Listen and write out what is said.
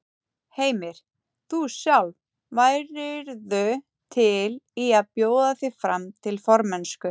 Heimir: Þú sjálf, værirðu til í að bjóða þig fram til formennsku?